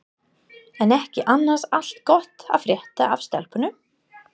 Er ekki annars allt gott að frétta af stelpunum?